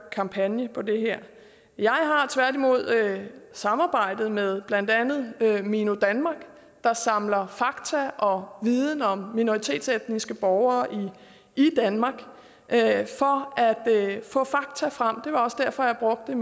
kampagne på det her jeg har tværtimod samarbejdet med blandt andet mino danmark der samler fakta og viden om minoritetsetniske borgere i danmark for at få fakta frem det var også derfor jeg brugte